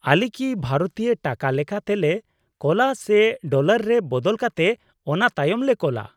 -ᱟᱞᱮ ᱠᱤ ᱵᱷᱟᱨᱚᱛᱤᱭᱚ ᱴᱟᱠᱟ ᱞᱮᱠᱟᱛᱮᱞᱮ ᱠᱳᱞᱟ ᱥᱮ ᱰᱚᱞᱟᱨ ᱨᱮ ᱵᱚᱫᱚᱞ ᱠᱟᱛᱮ ᱚᱱᱟᱛᱟᱭᱚᱢ ᱞᱮ ᱠᱳᱞᱟ ?